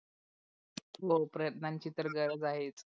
हो प्रयत्नाची तर गरज आहेत.